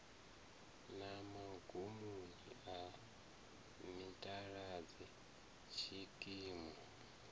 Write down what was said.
na magumoni a mitaladzi tshikimu